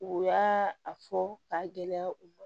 U y'a a fɔ k'a gɛlɛya u ma